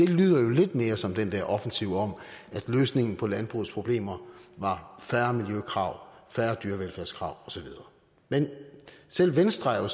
lyder lidt mere som den der offensiv om at løsningen på landbrugets problemer var færre miljøkrav færre dyrevelfærdskrav og så videre men selv venstre er jo